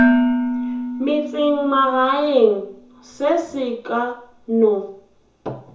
metsemagaeng se se ka no